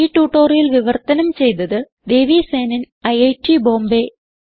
ഈ ട്യൂട്ടോറിയൽ വിവർത്തനം ചെയ്തത് ദേവി സേനൻ ഐറ്റ് ബോംബേ